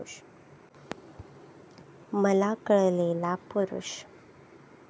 मला कळलेला पुरूष.